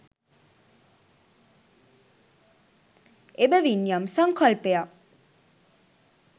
එබැවින් යම් සංකල්පයක්